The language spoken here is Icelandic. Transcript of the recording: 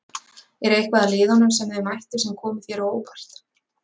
Er eitthvað að liðunum sem þið mættuð sem komu þér á óvart?